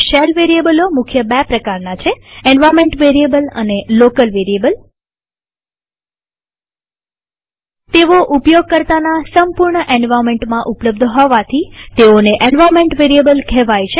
shell વેરીએબલો મુખ્ય બે પ્રકારના છે અંદ એન્વાર્નમેન્ટ વેરીએબલ અને લોકલ વેરીએબલ તેઓ ઉપયોગકર્તાના સંપૂર્ણ એન્વાર્નમેન્ટમાં ઉપલબ્ધ હોવાથી તેને એન્વાર્નમેન્ટ વેરીએબલ કહેવાય છે